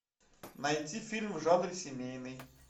найти фильм в жанре семейный